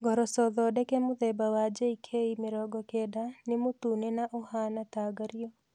Ngoroco thondeke mũthemba wa JK 90 nĩ mũtune na ũhaana ta ngario.